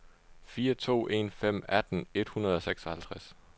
fire to en fem atten et hundrede og seksoghalvtreds